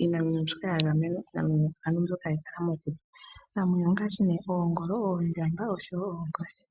iinamwenyo mbyoka hayi kala mokuti. Iinamwenyo ongaashi oongolo, oondjamba noshowo oonkoshi.